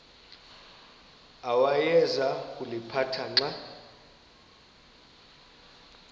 awayeza kuliphatha xa